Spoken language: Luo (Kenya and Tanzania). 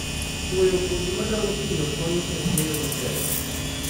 Chwoyo kodhi ma dongo piyo konyo e keyo motelo